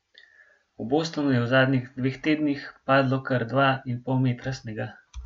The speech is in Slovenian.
V Bostonu je v zadnjih dveh tednih padlo kar dva in pol metra snega.